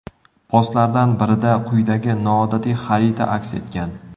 Postlardan birida quyidagi noodatiy xarita aks etgan.